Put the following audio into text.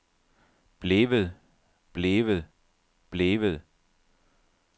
blevet blevet blevet